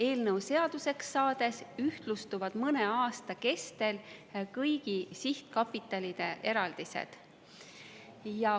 Eelnõu seaduseks saamisel ühtlustuvad mõne aasta kestel kõigi sihtkapitalide eraldised.